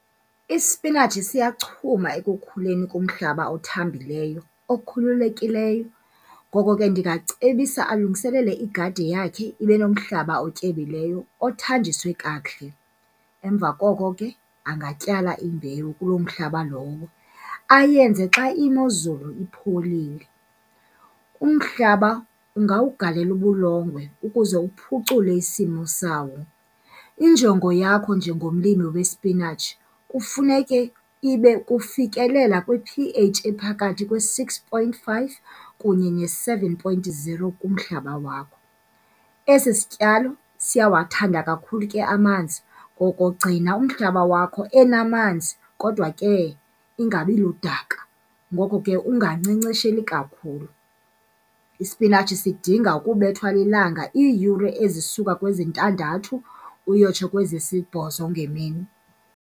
Ispinatshi siyachuma ekukhuleni kumhlaba othambileyo okhululekileyo. Ngoko ke, ndingacebisa alungiselele igadi yakhe ibe nomhlaba otyebileyo othanjiswe kakuhle. Emva koko ke, angatyala imbewu kuloo mhlaba lowo, ayenze xa imozulu ipholile. Umhlaba ungawugalela ubulongwe ukuze uphucule isimo sawo. Injongo yakho njengomlimi wespinatshi kufuneke ibe kufikelela kwi-P_H ephakathi kwe-six point five kunye ne-seven point zero kumhlaba wakho. Esi sityalo siyawathanda kakhulu ke amanzi, ngoko gcina umhlaba wakho enamanzi kodwa ke ingabi ludaka. Ngoko ke, ungankcenkcesheli kakhulu, ispinatshi sidinga ukubethwa lilanga iiyure ezisuka kwezintandathu uyotsho kwezisibhozo ngemini.